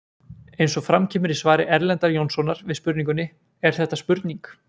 Eins og fram kemur í svari Erlendar Jónssonar við spurningunni Er þetta spurning?